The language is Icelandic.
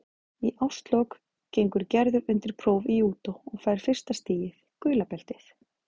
Í árslok gengur Gerður undir próf í júdó og fær fyrsta stigið, gula beltið.